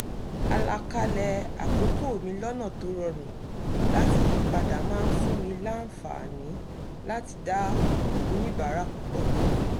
àlàkalẹ̀ àkókò mi lọ́nà tó rorùn láti yípadà máa ń fún mi làǹfààní láti dá oníbàárà púpọ̀ lóhùn